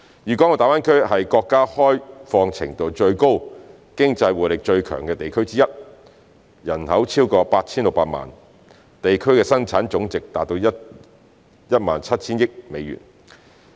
粵港澳大灣區是國家開放程度最高，經濟活力最強的地區之一。人口超過 8,600 萬，地區生產總值達 17,000 億美元。